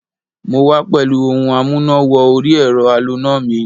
Mo wá pẹ̀lú ohun amúná-wọ-orí-ẹ̀rọ aloná mi